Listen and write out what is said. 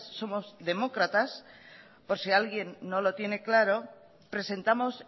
somos demócratas por si alguien no lo tiene claro presentamos